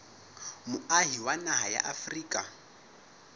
moahi wa naha ya afrika